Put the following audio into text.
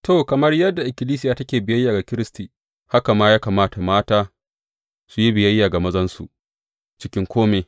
To, kamar yadda ikkilisiya take biyayya ga Kiristi, haka ma ya kamata mata su yi biyayya ga mazansu cikin kome.